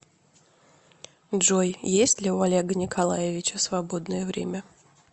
джой есть ли у олега николаевича свободное время